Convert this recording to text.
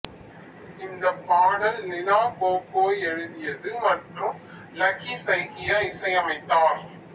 இந்த பாடல் லிலா கோகோய் எழுதியது மற்றும் லக்கி சைக்கியா இசையமைத்தார்